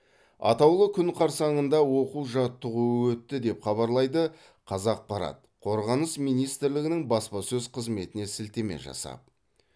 атаулы күн қарсаңында оқу жаттығу өтті деп хабарлайды қазақпарат қорғаныс министрлігінің баспасөз қызметіне сілтеме жасап